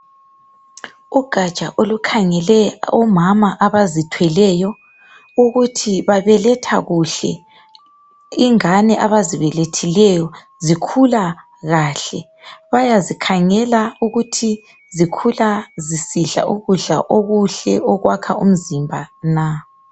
Ugatsha olukhangele omama abazithweleyo ukuthi babeletha kuhle ingane abazibelethileyo zikhula kahle. Bayazikhangela ukuthi zikhula zisidla ukudla okuhle okwakha umzimba na.